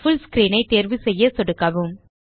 புல் screen ஐ தேர்வுசெய்ய சொடுக்கவும்